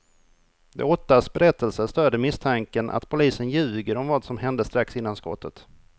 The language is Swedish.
De åttas berättelser stöder misstanken att polisen ljuger om vad som hände strax innan skottet.